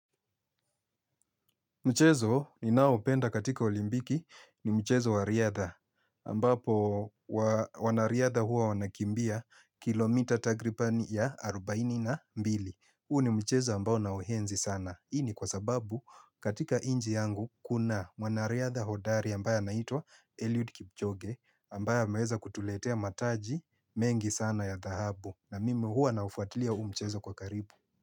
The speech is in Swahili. Mchezo ninao upenda katika olimbiki ni mchezo wa riadha, ambapo wanariadha hua wanakimbia kilomita takripani ya arubaini na mbili. Huu ni mchezo ambao naohenzi sana. Ini kwa sababu katika nchi yangu, kuna mwanariadha hodari ambaya naitwa Eliud Kipchoge, ambaye amaweza kutuletea mataji mengi sana ya dhahabu. Na mimi hua naufuatilia huu mchezo kwa karibu.